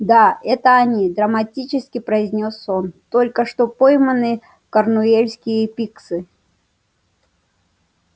да это они драматически произнёс он только что пойманные корнуэльские пикси